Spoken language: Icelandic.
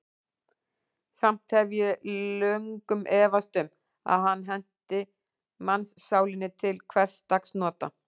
Samt hef ég löngum efast um, að hann henti mannssálinni til hversdagsnota.